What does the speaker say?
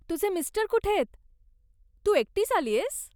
तुझे मिस्टर कुठेयत, तू एकटीच आलीयस?